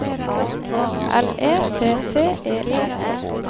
L E T T E R E